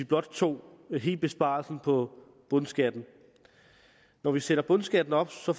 blot tog hele besparelsen på bundskatten når vi sætter bundskatten op får